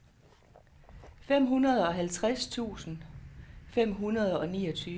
femoghalvtreds tusind fem hundrede og niogtyve